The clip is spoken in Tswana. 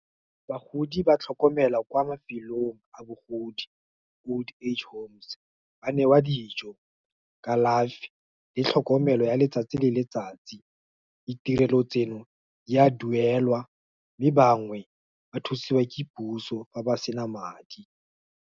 Bagodi ba tlhokomelwa kwa mafelong a bogodi, Old Age Homes, ba newa dijo, kalafi, le tlhokomelo ya letsatsi le letsatsi. Ditirelo tseno, di a duelwa, mme bangwe, ba thusiwa ke puso, fa ba sena madi.